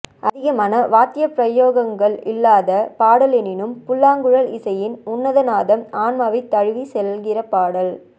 அதிகமான வாத்திய பிரயோகங்களில்லாத பாடல் எனினும் புல்லாங்குழல் இசையின்உன்னத நாதம் ஆன்மாவைத் தழுவி செல்கிறபாடல்